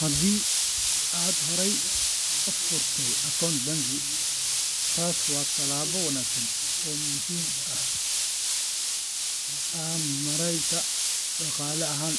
Haddii aad horey u furtay akoonto bangi, taasi waa tallaabo wanaagsan oo muhiim u ah maaraynta dhaqaale ahaan.